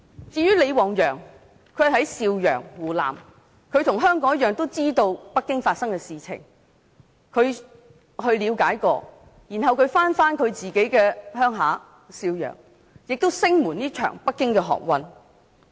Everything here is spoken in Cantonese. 在湖南邵陽市的李旺陽與香港市民一樣，知道北京發生的事情，他了解事情後返回自己的家鄉邵陽市，聲援這場北京學運。